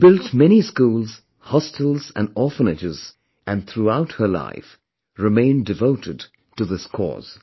She had built many schools, hostels and orphanages, and throughout her life, remained devoted to this cause